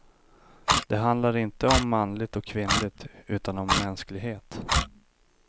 Det handlar inte om manligt och kvinnligt, utan om mänsklighet.